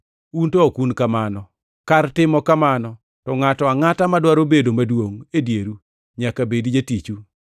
un to ok un kamano. Kar timo kamano to ngʼato angʼata madwaro bedo maduongʼ e dieru nyaka bedi jatichu,